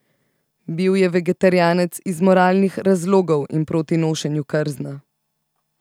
Bil je vegetarijanec iz moralnih razlogov in proti nošenju krzna.